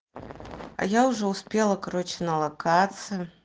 а я уже успела короче на локации